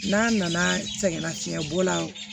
N'a nana sɛgɛn nafiɲɛbɔ la